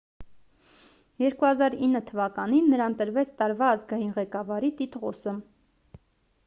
2009 թվականին նրան տրվեց տարվա ազգային ղեկավարի տիտղոսը